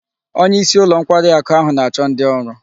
Onye isi ulo nkwari aku ahu na-acho ndi oru